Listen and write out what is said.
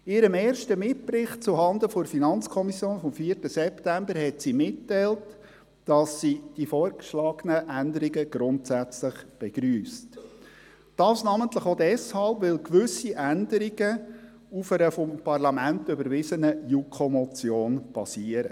In ihrem ersten Mitbericht zuhanden der FiKo vom 4. September 2018 teilte sie mitgeteilt, dass sie die vorgeschlagenen Änderungen grundsätzlich begrüsst, namentlich auch deshalb, weil gewisse Änderungen auf einer vom Parlament überwiesenen JuKo-Motion basieren.